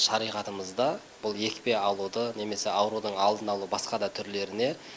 шариғатымызда бұл екпе алуды немесе аурудың алдын алу басқа да түрлеріне